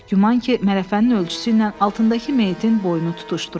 Güman ki, mələfənin ölçüsü ilə altındakı meyitin boynunu tutuşdururdu.